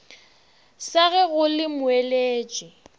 sa ge go le moeletši